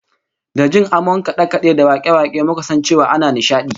Da jin amon kade-kade da wake-wake muka san cewa ana nishadi